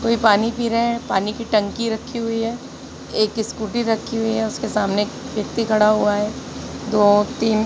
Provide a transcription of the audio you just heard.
कोई पानी पी रहे है। पानी की टंकी रखी हुई है। एक स्कूटी रखी हुई हैं उसके सामने एक व्यक्ति खड़ा हुआ है दो औरतें--